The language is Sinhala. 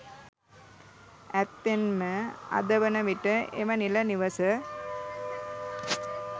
ඇත්තෙන්ම අද වන විට එම නිල නිවස